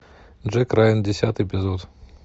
джек райан десятый эпизод